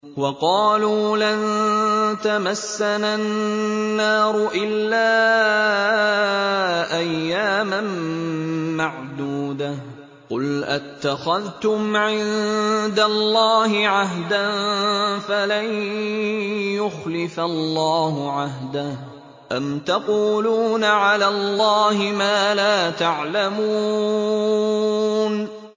وَقَالُوا لَن تَمَسَّنَا النَّارُ إِلَّا أَيَّامًا مَّعْدُودَةً ۚ قُلْ أَتَّخَذْتُمْ عِندَ اللَّهِ عَهْدًا فَلَن يُخْلِفَ اللَّهُ عَهْدَهُ ۖ أَمْ تَقُولُونَ عَلَى اللَّهِ مَا لَا تَعْلَمُونَ